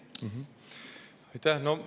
Aitäh!